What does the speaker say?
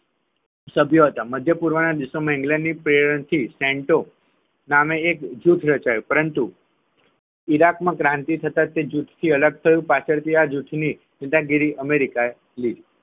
સભ્ય હતા મધ્યપૂર્વ દેશો માં ઇંગ્લેન્ડના પ્રેરણ થી સનટો નામે એક જૂથ રચાયું પરંતુ ઈરાકમાં ક્રાંતિ થતાં તે જૂથ અલગ થયું પાછળથી આ જૂથની સત્તા ગીરી અમેરિકાએ લીધી